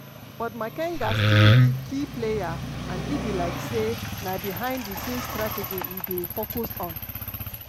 but makenga still be key player and e be like say na behind di scene strategy e dey focus on.